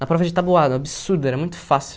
Na prova de tabuada, um absurdo, era muito fácil.